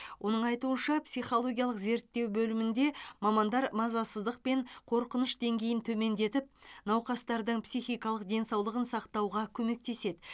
оның айтуынша психологиялық зерттеу бөлмінде мамандар мазасыздық пен қорқыныш деңгейін төмендетіп науқастардың психикалық денсаулығын сақтауға көмектеседі